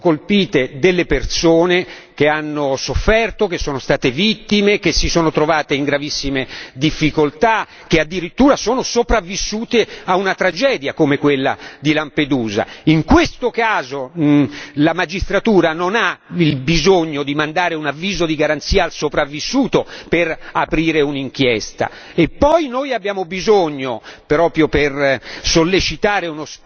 In questo caso vengono colpite delle persone che hanno sofferto, che sono state vittime, che si sono trovate in gravissime difficoltà, che addirittura sono sopravvissute a una tragedia, come quella di Lampedusa. In questo caso la magistratura non ha il bisogno di mandare un avviso di garanzia al sopravvissuto per aprire un'inchiesta e poi noi abbiamo bisogno proprio per